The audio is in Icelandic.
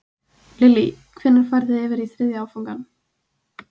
Lillý: Hvenær farið þið í þriðja áfangann?